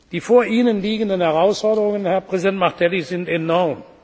Die vor Ihnen liegenden Herausforderungen, Herr Präsident Martelly, sind enorm.